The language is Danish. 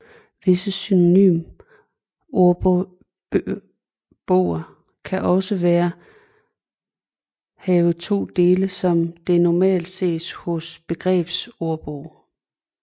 Visse synonymordboger kan også være have to dele som det normalt ses hos begrebsordbogen